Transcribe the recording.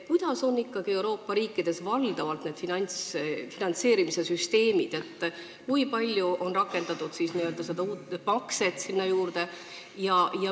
Millised on ikkagi Euroopa riikides valdavalt need finantseerimissüsteemid, kui palju on rakendatud sinna juurde seda n-ö uut makset?